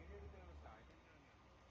Video çəkirəm.